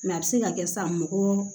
a bɛ se ka kɛ san mɔgɔ